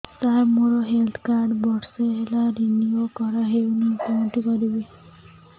ସାର ମୋର health card ବର୍ଷେ ହେଲା ରିନିଓ କରା ହଉନି କଉଠି କରିବି